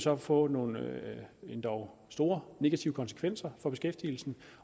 at få nogle endog store negative konsekvenser for beskæftigelsen